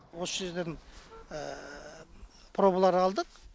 осы жерден пробалар алдық